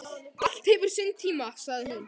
Allt hefur sinn tíma, sagði hún.